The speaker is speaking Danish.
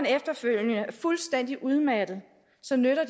efterfølgende er fuldstændig udmattet så nytter